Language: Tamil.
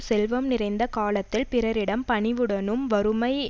செல்வம் நிறைந்த காலத்தில் பிறரிடம் பணிவுடனும் வறுமை